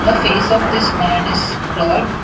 the face of this man is blurred.